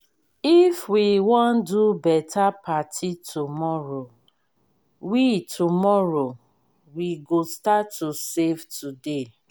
if we wan do beta party tomorrow we tomorrow we go start to save today.